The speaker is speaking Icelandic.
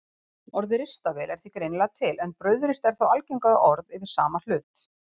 Orðið ristavél er því greinilega til en brauðrist er þó algengara orð yfir sama hlut.